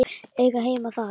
Eiga heima þar?